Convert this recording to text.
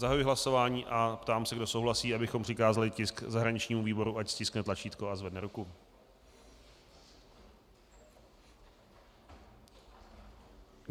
Zahajuji hlasování a ptám se, kdo souhlasí, abychom přikázali tisk zahraničnímu výboru, ať stiskne tlačítko a zvedne ruku.